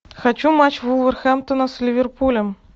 хочу матч вулверхэмптона с ливерпулем